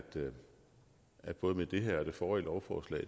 at både med det her og det forrige lovforslag